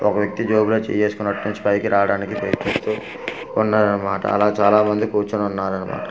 ఒక వ్యక్తి జేబులో చేయి వేసుకొని అట్నుంచి పైకి రావడానికి ప్రయత్నిస్తూ కొన్నరన్నమాట అలా చాలా మంది కూర్చొని ఉన్నరన్నమాట.